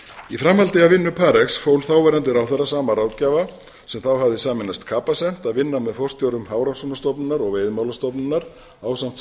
í framhaldi af vinnu parx fól þáverandi ráðherra sama ráðgjafa sem þá hafði sameinast capacent að vinna með forstjórum hafrannsóknastofnunar og veiðimálastofnunar ásamt skrifstofustjóra